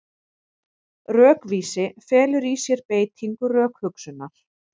Rökvísi felur í sér beitingu rökhugsunar.